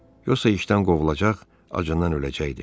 Yoxsa işdən qovulacaq, acından öləcəkdim.